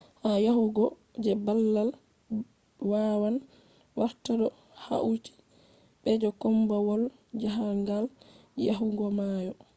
ha yahugo je babal wawan warta do hauti be je kombawal jahangal yahugo mayo